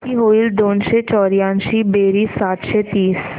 किती होईल दोनशे चौर्याऐंशी बेरीज सातशे तीस